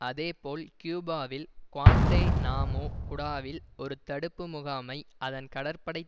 அதே போல் கியூபாவில் குவாண்டேநாமோ குடாவில் ஒரு தடுப்பு முகாமை அதன் கடற்படை